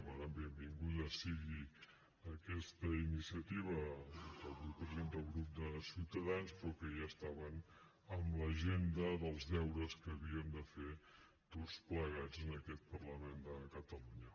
per tant benvinguda sigui aquesta iniciativa que avui presenta el grup de ciutadans però que ja estava en l’agenda dels deures que havíem de fer tots plegats en aquest parlament de catalunya